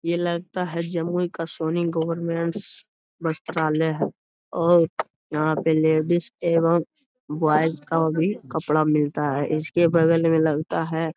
ये लगता है जमुई का सोनी गवरमेंट्स वस्त्रालय है और यहाँ पे लेडीज एवं ब्वॉयज का भी कपड़ा मिलता है। इसके बगल में लगता है --